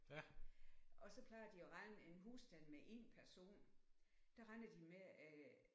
Og så plejer de at regne en husstand med 1 person der regner de med at